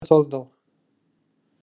создал